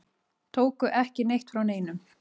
Tóku ekki neitt frá neinum.